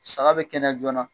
Saga bɛ kɛnɛ joona